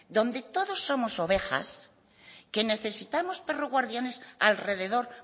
donde todos somos ovejas que necesitamos perro guardianes alrededor